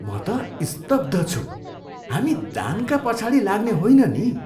म त स्तब्ध छु! हामी दानका पछाडि लाग्ने होइन नि।